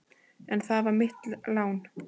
En það var mitt lán.